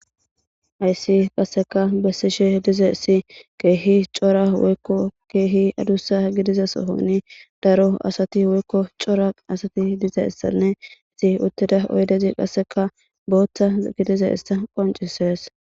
Hayssi qasseka besiishshe dizayssi ke'i cora woykko ke'i adussa gidiza soohoni daro assati woykko cora assati dizayssanne etti utiida oydezi kasseka boththa osseti dizayssa qoncisees